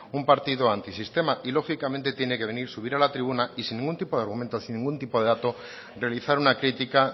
un partido antisistema y lógicamente tiene que venir subir a la tribuna y sin ningún tipo de argumentos sin ningún tipo de dato realizar una crítica